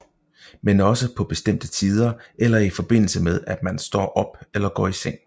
Men også på bestemte tider eller i forbindelse med at man står op eller går i seng